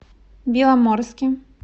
беломорске